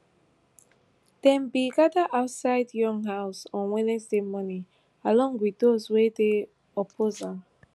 dem bin gada outside yoon house on wednesday morning along wit dose wey dey oppose am